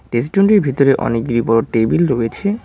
রেস্টুরেন্টটির ভেতরে অনেকগুলো বড়ো টেবিল রয়েছে।